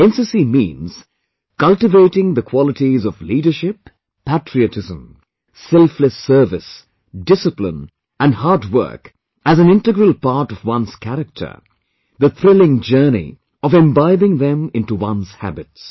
NCC means, cultivating the qualities of Leadership, patriotism, selfless service discipline & hard work as an integral part of one's character; the thrilling journey of imbibing them into one's habits